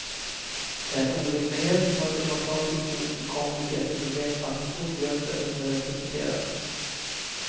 Det är en orimlighet och ett demokratiskt ofullkomligt jätteproblem att en stor grupp är underrepresenterad.